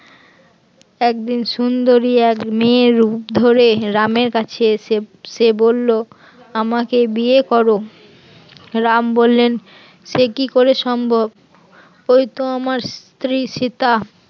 একদিন সুন্দরী এক মেয়ের রূপ ধরে রামের কাছে এসে সে বলল আমাকে বিয়ে কর, রাম বললেন সে কি করে সম্ভব ওই তো আমার স্ত্রী সীতা